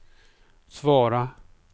svara